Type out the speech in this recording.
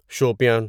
Shopian